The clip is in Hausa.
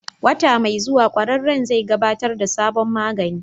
Wata mai zuwa, ƙwararren zai gabatar da sabon magani.